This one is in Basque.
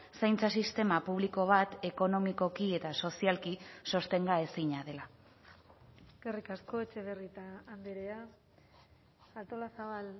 zaintza sistema publiko bat ekonomikoki eta sozialki sostenga ezina dela eskerrik asko etxebarrieta andrea artolazabal